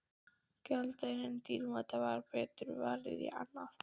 Gjaldeyrinum dýrmæta væri betur varið í annað.